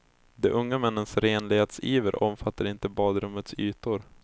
De unga männens renlighetsiver omfattar inte badrummets ytor.